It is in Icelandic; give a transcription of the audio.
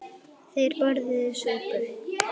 Þeir borðuðu súpu.